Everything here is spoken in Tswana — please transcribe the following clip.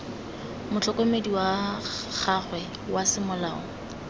motlhokomedi wa gagwe wa semolao